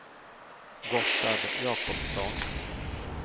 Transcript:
Gotthard Jacobsson